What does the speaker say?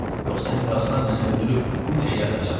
Yoxsa Əmiraslan məni öldürüb bu meşəyə atacagdı.